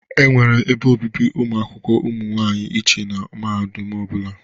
E nwere ebe obibi ụmụakwụkwọ ụmụ nwaanyị iche na mahadum ọ bụla.